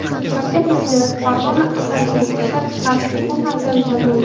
Shavkat Mirziyoyev Farg‘ona asalarichilik ishlab chiqarish o‘quv markazida bo‘ldi.